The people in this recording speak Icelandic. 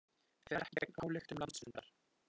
Fer ekki gegn ályktun landsfundar